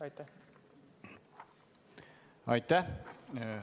Aitäh!